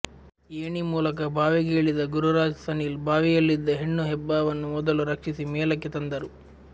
ಏಣಿ ಮೂಲಕ ಬಾವಿಗೆ ಇಳಿದ ಗುರುರಾಜ್ ಸನಿಲ್ ಬಾವಿಯಲ್ಲಿದ್ದ ಹೆಣ್ಣು ಹೆಬ್ಬಾವವನ್ನು ಮೊದಲು ರಕ್ಷಿಸಿ ಮೇಲಕ್ಕೆ ತಂದರು